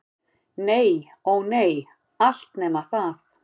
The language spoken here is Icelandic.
Nei- ó nei, allt nema það.